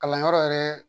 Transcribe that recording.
Kalanyɔrɔ yɛrɛ